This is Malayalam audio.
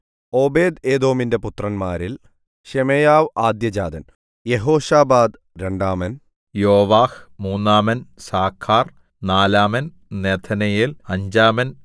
ഓബേദ്ഏദോമിന്റെ പുത്രന്മാരിൽ ശെമയ്യാവ് ആദ്യജാതൻ യെഹോശാബാദ് രണ്ടാമൻ യോവാഹ് മൂന്നാമൻ സാഖാർ നാലാമൻ നെഥനയേൽ അഞ്ചാമൻ